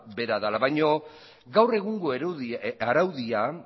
bera dela baina gaur egungo araudia